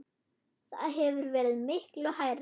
Það hefur verið miklu hærra.